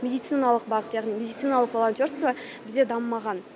медициналық бағыт яғни медициналық волонтерство бізде дамымаған